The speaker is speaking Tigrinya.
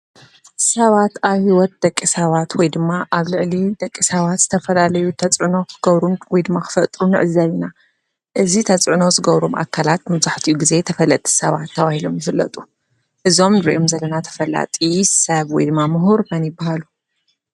ሰባት ኣብ ሂወት ደቂ ሰባት ወይ ድማ ኣብ ልዕሊ ደቂ ሰባት ዝተፈላለዩ ተፅዕኖ ክገብሩ ወይ ድማ ክነጥሩ ንዕዘብ ኢና። እዚ ተፅዕኖ ዝገብሩ ኣካላት መብዛሕተኡ ግዘ ተፈለጥቲ ሰባት ተባሂሎም ይፍለጡ ። እዞም ንሪኦም ዘለና ተፍላጢ ሰብ ወይ ድማ ምሁር መን ይበሃሉ?